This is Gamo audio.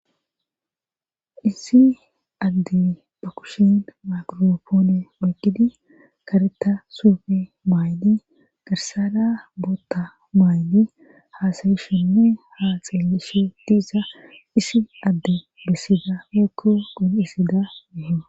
issi adde ba kushin makiropoone oyqidi kareta suufe maaydi garsara bootta maaydi haasayishenne ha xeelishe diza issi adde bessida woykko qoncisida meto